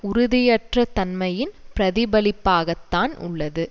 உறுதியற்ற தன்மையின் பிரதிபலிப்பாகத்தான் உள்ளது